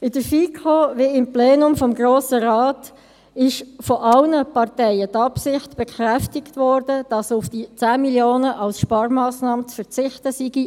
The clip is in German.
In der FiKo wie auch im Plenum des Grossen Rates wurde von allen Parteien die Absicht bekräftigt, dass in der ERZ auf die 10 Mio. Franken als Sparmassnahme zu verzichten sei.